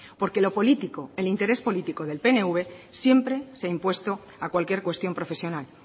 porque lo político el interés político del pnv siempre se ha impuesto a cualquier cuestión profesional